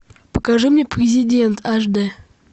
покажи мне президент аш дэ